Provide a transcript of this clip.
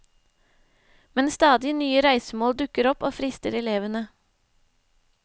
Men stadig nye reisemål dukker opp og frister elevene.